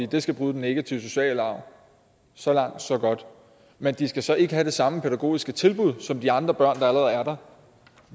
det skal bryde den negative sociale arv så langt så godt men de skal så ikke have det samme pædagogiske tilbud som de andre børn der allerede er der